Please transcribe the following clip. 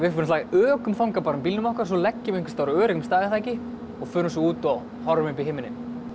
ökum þangað bílnum okkar svo leggjum við á öruggum stað og förum svo út og horfum upp í himininn